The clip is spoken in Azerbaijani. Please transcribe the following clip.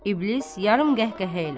İblis yarım qəhqəhə ilə.